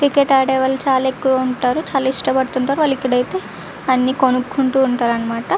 Cricket ఆడే వాళ్ళు చాలా ఎక్కువ ఉంటారు. చాలా ఇష్టపడుతుంటే వాళ్ళు ఇక్కడ అయితే అన్ని కొనుక్కుంటూ ఉంటారు అన్నమాట.